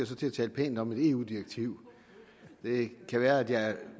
så til at tale pænt om et eu direktiv det kan være at